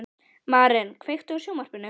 Maren, kveiktu á sjónvarpinu.